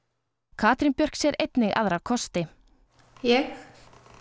Katrín Björk sér einnig aðra kosti ég